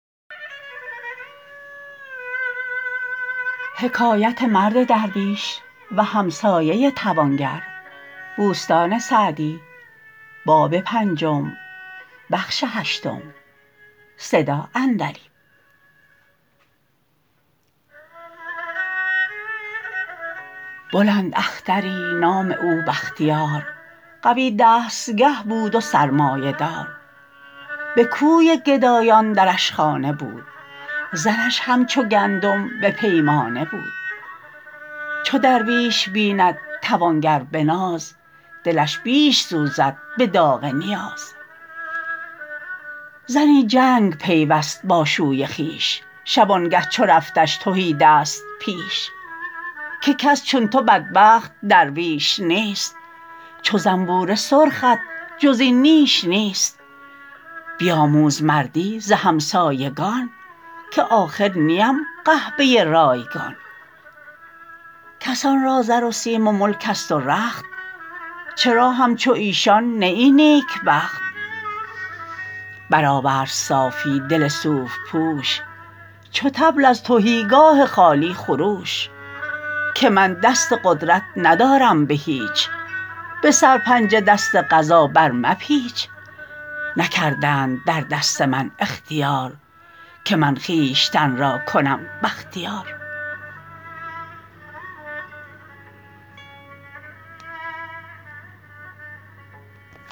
بلند اختری نام او بختیار قوی دستگه بود و سرمایه دار به کوی گدایان درش خانه بود زرش همچو گندم به پیمانه بود چو درویش بیند توانگر به ناز دلش بیش سوزد به داغ نیاز زنی جنگ پیوست با شوی خویش شبانگه چو رفتش تهیدست پیش که کس چون تو بدبخت درویش نیست چو زنبور سرخت جز این نیش نیست بیاموز مردی ز همسایگان که آخر نیم قحبه رایگان کسان را زر و سیم و ملک است و رخت چرا همچو ایشان نه ای نیکبخت بر آورد صافی دل صوف پوش چو طبل از تهیگاه خالی خروش که من دست قدرت ندارم به هیچ به سرپنجه دست قضا بر مپیچ نکردند در دست من اختیار که من خویشتن را کنم بختیار